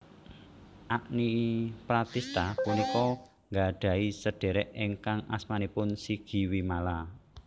Agni Pratistha punika nggadhahi sedhérék ingkang asmanipun Sigi Wimala